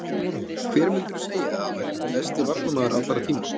Hver myndirðu segja að væri besti varnarmaður allra tíma?